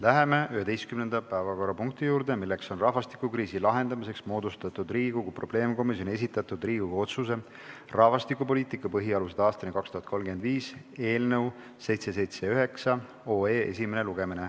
Läheme 11. päevakorrapunkti juurde, milleks on rahvastikukriisi lahendamiseks moodustatud Riigikogu probleemkomisjoni esitatud Riigikogu otsuse "Rahvastikupoliitika põhialused aastani 2035" eelnõu esimene lugemine.